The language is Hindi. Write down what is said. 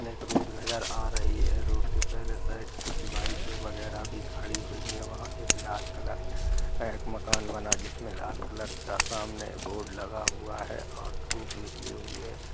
सामने के रोड नजर आ रही है रोड के पहले साइड कुछ बाइके वगेरा भी खड़ी हुई वहाँ लाल कलर का मकान बना है जिसमे लाल कलर का बोर्ड लगा हुआ है सामने धूप निकली --